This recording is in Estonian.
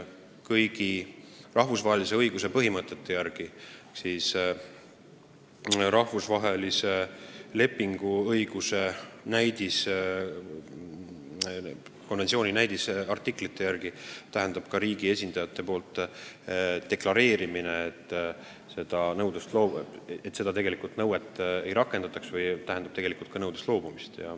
Kõigi rahvusvahelise õiguse põhimõtete järgi, rahvusvaheliste lepingute õiguse konventsiooni näidisartiklite järgi tähendab riigi esindajate poolt deklareerimine, et tegelikult seda nõuet ei rakendata, ka nõudest loobumist.